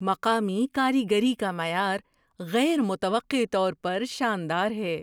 مقامی کاریگری کا معیار غیر متوقع طور پر شاندار ہے۔